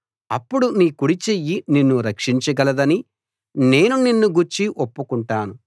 అప్పుడు నీ కుడి చెయ్యి నిన్ను రక్షించగలదని నేను నిన్ను గూర్చి ఒప్పుకుంటాను